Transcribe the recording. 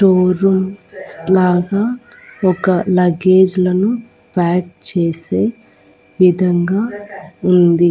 Store rooms plaza ఒక luggage లలో pack చేసే విధంగా ఉంది.